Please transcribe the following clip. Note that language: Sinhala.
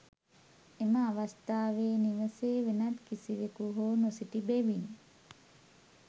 එම අවස්ථාවේ නිවසේ වෙනත් කිසිවෙකු හෝ නොසිටි බැවින්